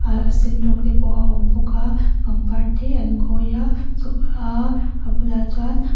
ahh a sen rawng te pawh a awm bawk a pangpar te an khawi a a bulah chuan --